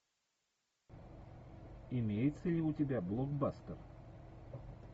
имеется ли у тебя блокбастер